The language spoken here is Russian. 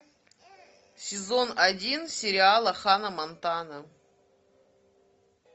сезон один сериала ханна монтана